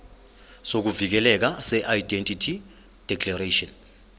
sokuvikeleka seindemnity declaration